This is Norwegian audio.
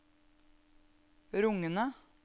rungende